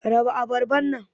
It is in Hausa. raba abarban nan.